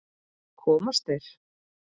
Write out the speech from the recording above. Komast þeir???